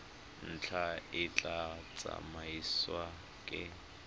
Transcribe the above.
ntlha e tla tsamaisiwa ke